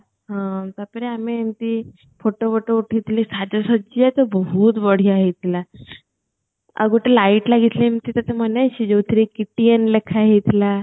ହଁ ତାପରେ ଆମେ ଏମିତି photo ଗୋଟେ ଉଠେଇଥିଲେ ସାଜସାଜ୍ୟା ତ ବହୁତ ବଢିଆ ହେଇଥିଲା ଆଉ ଗୋଟେ light ଲାଗିଥିଲା ଏମିତି ତତେ ମନେ ଅଛି ଯୋଉଥିରେ କି TN ଲେଖା ହେଇଥିଲା